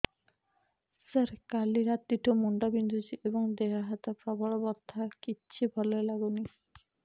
ସାର କାଲି ରାତିଠୁ ମୁଣ୍ଡ ବିନ୍ଧୁଛି ଏବଂ ଦେହ ହାତ ପ୍ରବଳ ବଥା କିଛି ଭଲ ଲାଗୁନି